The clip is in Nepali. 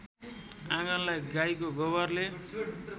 आँगनलाई गाईको गोबरले